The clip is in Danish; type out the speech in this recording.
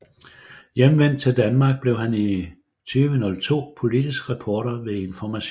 Hjemvendt til Danmark blev han i 2002 politisk reporter ved Information